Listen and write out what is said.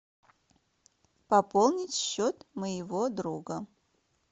пополнить счет моего друга